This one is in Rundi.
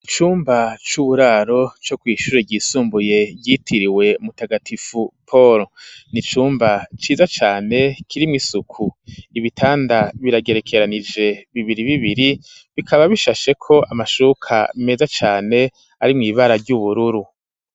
Icumba c'uburaro co kw'ishure ryisumbuye ryitiriwe mutagatifu Polo, ni icumba ciza cane kirimwo isuku, ibitanda biragerekeranije bibiri bibiri, bikaba bishasheko amashuka meza cane arimwo ibara ry'ubururu.